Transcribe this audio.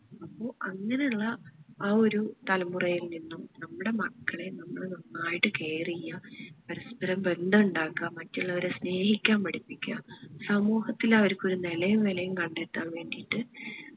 അപ്പോ അങ്ങനെ ഉള്ള ആ ഒരു തലമുറയിൽ നിന്നും നമ്മുടെ മക്കളെ നമ്മൾ നന്നായിട്ട് care ചെയ്യാ പരസ്പ്പരം ബന്ധം ഇണ്ടാക്ക്‌ആ മറ്റുള്ളവരെ സ്നേഹിക്കാൻ പഠിപ്പിക്ക സമൂഹത്തിൽ അവരിക്ക് ഒരു നെലയും വേലയും കണ്ടെത്താൻ വേണ്ടിയിട്ട്